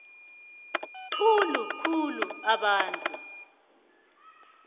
khulu khulu abantu